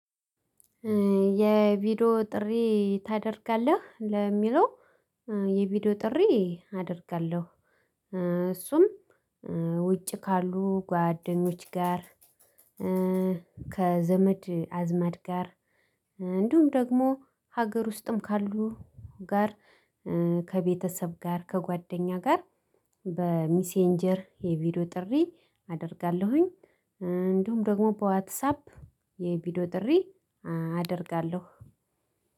የቪዲዮ ጥሪ ታደርጋለህ ለሚለው? የቪዲዮ ጥሪ አደርጋለሁ። እሱም ውጭ ካሉ ጓደኞች ጋር። ከዘመድ አዝመድ ጋር እንዲሁም ደግሞ ሀገር ውስጥም ካሉ ጋር። ከቤተሰብ ጋር ከጓደኛ ጋር በሜሴንጀር የቪዲዮ ጥሪ አደርጋለሁኝ። እንዲሁም ደግሞ በዋትሳፕ የቪዲዮ ጥሪ አደርጋለሁ።